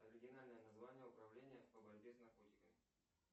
оригинальное название управления по борьбе с наркотиками